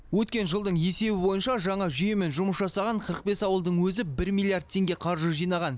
өткен жылдың есебі бойынша жаңа жүйемен жұмыс жасаған қырық бес ауылдың өзі бір миллиард теңге қаржы жинаған